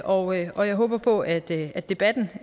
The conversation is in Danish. og og jeg håber på at at debatten